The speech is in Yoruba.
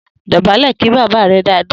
Dò̩bálè̩ kí bàbá rẹ dáadáa!